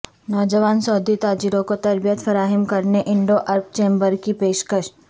نوجوان سعودی تاجروں کو تربیت فراہم کرنے انڈو عرب چیمبر کی پیشکش